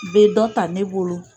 Bɛ dɔ ta ne bolo.